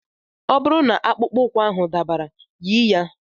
Ọ bụrụ na akpụkpọ ụkwụ ahụ dabara, yi ya.